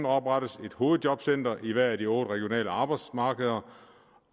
oprettes et hovedjobcenter i hvert af de otte regionale arbejdsmarkeder